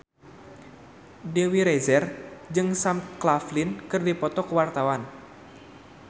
Dewi Rezer jeung Sam Claflin keur dipoto ku wartawan